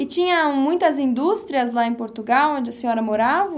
E tinham muitas indústrias lá em Portugal onde a senhora morava?